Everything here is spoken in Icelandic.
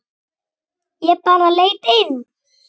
Ég bara leit inn.